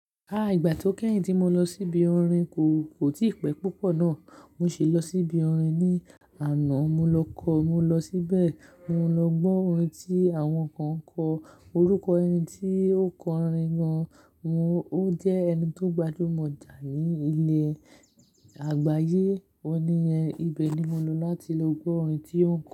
Àìgbà tó kẹ́yìn tí mo lọ síbi orin kò, kò tí pẹ́ púpọ̀ ná. Mo sì lọ síbi orin ní àná. Mo lọ kọ, mo lọ síbẹ̀, mo lọ gbọ́ orin tí àwọn kan ń kọ. Orúkọ ẹni tí ó kọ orin gan-an, òun jẹ́ ẹni tó gbajúmọ̀ jà ní ilẹ̀ àgbáyé. Ó níyẹn ibẹ̀ ni mo lọ láti lọ gbọ́ orin tí ó ń kọ.